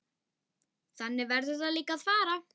Þannig verður líka að fara.